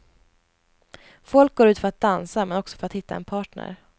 Folk går ut för att dansa, men också för att hitta en partner.